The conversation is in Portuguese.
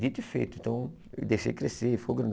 Dito e feito, então eu deixei crescer, ficou grandão.